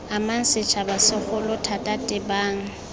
amang setšhaba segolo thata tebang